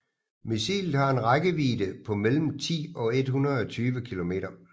Missilet har en rækkevidde på mellem 10 og 120 kilometer